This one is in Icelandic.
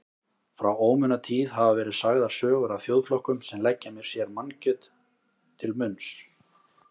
Frá ómunatíð hafa verið sagðar sögur af þjóðflokkum sem leggja sér mannakjöt til munns.